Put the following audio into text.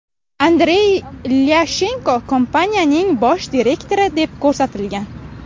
Andrey Ilyashenko kompaniyaning bosh direktori deb ko‘rsatilgan.